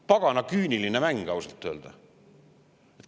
Pagana küüniline mäng ausalt öelda.